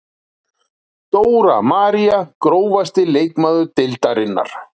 Dóra María Grófasti leikmaður deildarinnar?